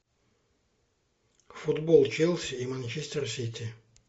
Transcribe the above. футбол челси и манчестер сити